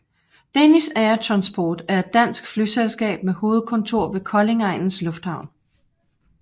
Danish Air Transport er et dansk flyselskab med hovedkontor ved Koldingegnens Lufthavn